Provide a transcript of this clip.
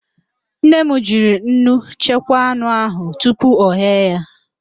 Nne m jiri nnu chekwaa anụ ahụ tupu oghee ya